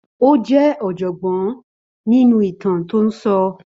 Ó jẹ́ ọ̀jọ̀gbọ́n nínú ìtàn tó ń sọ.